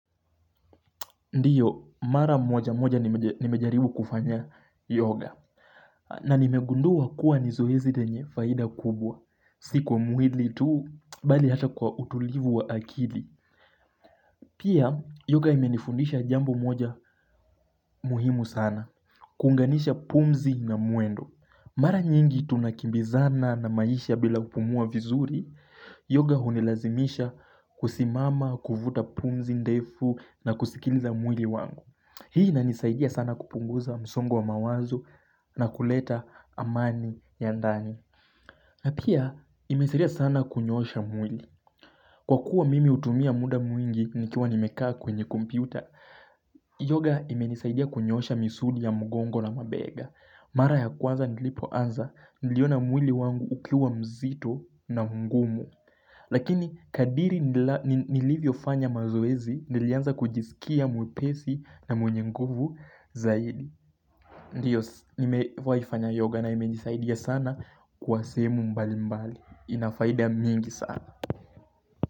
Ndio, mara moja moja nimejaribu kufanya yoga. Na nimegundua kuwa ni zoezi lenye faida kubwa. Si kwa mwili tu, bali hata kwa utulivu wa akili. Pia, yoga imenifundisha jambo moja muhimu sana. Kunganisha pumzi na mwendo. Mara nyingi tunakimbizana na maisha bila kupumua vizuri, yoga hunilazimisha kusimama, kuvuta pumzi, ndefu, na kusikiliza mwili wangu. Hii inanisaidia sana kupunguza msongo wa mawazo na kuleta amani ya ndani. Na pia imenisaidia sana kunyosha mwili. Kwa kuwa mimi utumia muda mwingi nikiwa nimekaa kwenye kompiuta, yoga imenisaidia kunyosha misuli ya mgongo na mabega. Mara ya kwanza nilipoanza niliona mwili wangu ukiwa mzito na m'gumu. Lakini kadri nilivyo fanya mazoezi nilianza kujisikia mwepesi na mwenye nguvu zaidi. Ndio nimewahi fanya yoga na imenisaidia sana kwa sehemu mbali mbali inafaida nyingi sana.